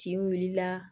Tin wulila